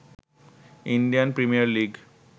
Indian premier league